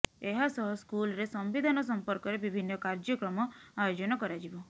ଏହାସହ ସ୍କୁଲରେ ସମ୍ବିଧାନ ସମ୍ପର୍କରେ ବିଭିନ୍ନ କାର୍ଯ୍ୟକ୍ରମ ଆୟୋଜନ କରାଯିବ